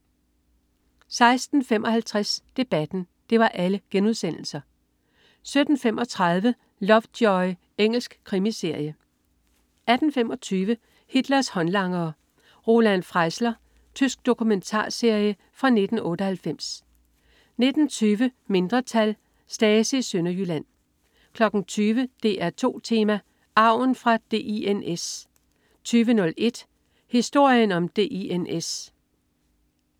16.55 Debatten* 17.35 Lovejoy. Engelsk krimiserie 18.25 Hitlers håndlangere. Roland Freisler. Tysk dokumentarserie fra 1998 19.20 Mindretal. Stasi i Sønderjylland 20.00 DR2 Tema: Arven fra DINS 20.01 Historien om DINS